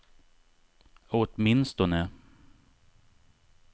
åtminstone